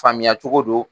Faamuya cogo don